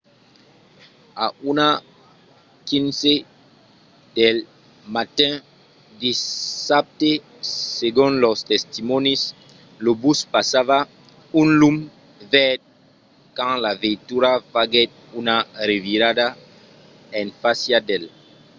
a 1:15 del matin dissabte segon los testimònis lo bus passava un lum verd quand la veitura faguèt una revirada en fàcia d'el